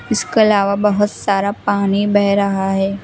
इसके अलावा बहुत सारा पानी बह रहा है।